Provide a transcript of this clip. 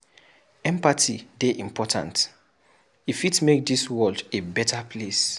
Empathy dey important, e fit make dis world a beta place.